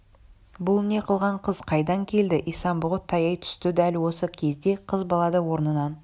бұл не қылған қыз қайдан келді исан-бұғы таяй түсті дәл осы кезде қыз бала да орнынан